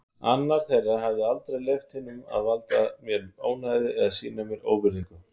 Annar þeirra hefði aldrei leyft hinum að valda mér ónæði eða sýna mér óvirðingu.